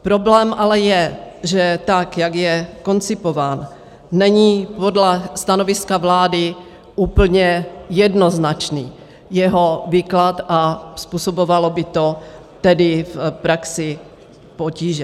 Problém ale je, že tak jak je koncipován, není podle stanoviska vlády úplně jednoznačný jeho výklad, a způsobovalo by to tedy v praxi potíže.